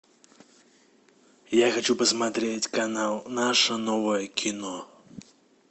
я хочу посмотреть канал наше новое кино